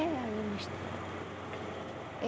É aí na estrada.